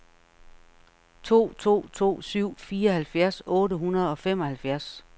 to to to syv fireoghalvfjerds otte hundrede og femoghalvfjerds